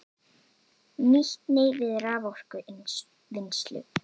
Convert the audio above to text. Nýtni við raforkuvinnslu